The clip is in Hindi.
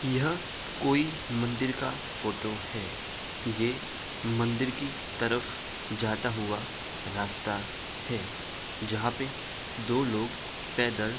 यह कोई मंदिर का फोटो है। ये मंदिर की तरफ जाता हुआ राश्ता है जहाँ पे दो लोग पैदल --